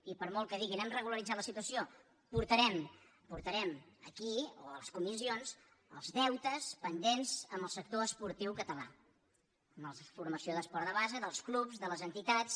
i per molt que diguin hem re·gularitzat la situació portarem aquí o a les comissi·ons els deutes pendents amb el sector esportiu català amb la formació d’esport de base dels clubs de les entitats